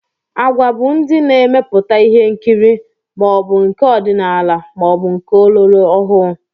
Agwa bụ ndị na-emepụta ihe nkiri, ma ọ bụ nke ọdinala maọbụ nke ọlọrọọhụụ